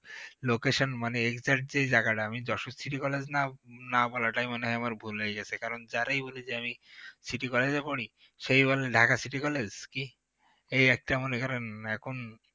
location মানে এইটা যে জায়গাটা আমি যশোর city college না না বলাটাই মনে হয় আমার ভুল হয়েগেছে কারণ জারেই বলি যে আমি যখনই বলি city college এ পড়ি, সেই বলে ঢাকা city college কি এই একটা মনে করেন এখন